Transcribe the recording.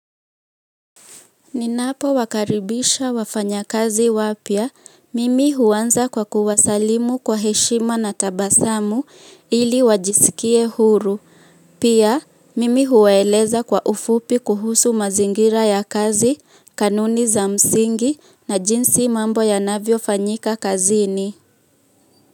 Ninapowakaribisha wafanyakazi wapya, mimi huanza kwa kuwasalimu kwa heshima na tabasamu ili wajisikie huru. Pia, mimi huwaeleza kwa ufupi kuhusu mazingira ya kazi, kanuni za msingi na jinsi mambo yanavyofanyika kazini.